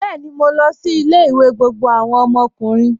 Bẹẹni, mó lọ sí ilẹ̀-ìwé gbogbo awọn ọmọkùnrin.